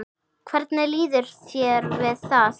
Hvernig líður þér við það?